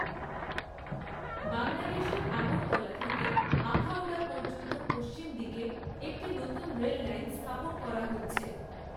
বাংলাদেশের আগরতলা থেকে আখাউড়া পর্যন্ত পশ্চিম দিকে একটি নতুন রেললাইন স্থাপন করা হচ্ছে।